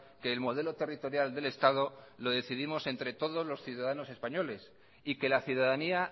que el modelo territorial del estado lo decidimos entre todos los ciudadanos españoles y que la ciudadanía